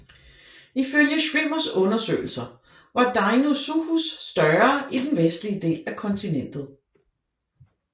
Ifølge Schwimmers undersøgelser var Deinosuchus større i den vestlige del af kontinentet